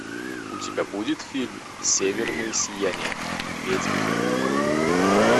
у тебя будет фильм северное сияние ведьмины куклы